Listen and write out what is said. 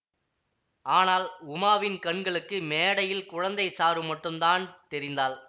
ஆனால் உமாவின் கண்களுக்கு மேடையில் குழந்தை சாரு மட்டுந்தான் தெரிந்தாள்